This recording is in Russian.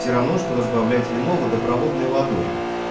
всё равно что разбавлять вино водопроводной водой